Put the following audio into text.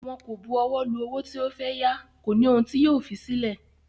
Wọn kò bu ọwọ́ lu owó tí o fẹ́ yá, kò ní ohun tí yóò fi sílẹ̀